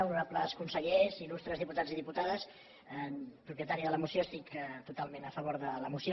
honorables consellers il·lustres diputats i diputades propietària de la moció estic totalment a favor de la moció